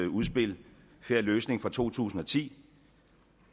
udspil en fair løsning fra to tusind og ti